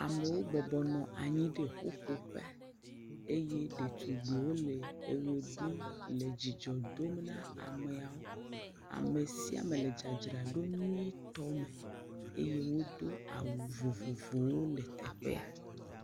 amowo bɔbɔ nɔ anyi ɖe ƒuƒoƒe eye ɖetugbiwo le eɣe ɖum le dzidzɔ dom na ameawo amesiame le dzadzraɖo nyuitɔ me eye wodó awu vovovowo le teƒea